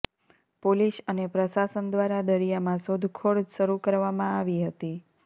police અને પ્રશાસન દ્વારા દરિયામાં શોધખોળ શરૂ કરવામાં આવી હતી